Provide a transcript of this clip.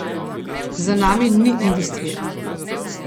Za nami ni industrije.